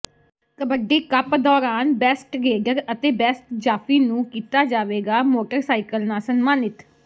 kabaddi cup ਦੌਰਾਨ best raider ਤੇ best ਜਾਫ਼ੀ ਨੂੰ ਕੀਤਾ ਜਾਵੇਗਾ ਮੋਟਰਸਾਈਕਲ ਨਾਲ ਸਨਮਾਨਿਤ